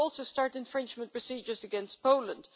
Will you also start infringement procedures against Poland?